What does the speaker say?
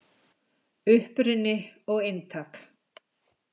Uppruni og inntak.